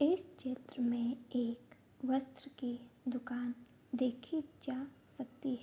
इस चित्र में एक वस्त्र की दुकान देखी जा सकती --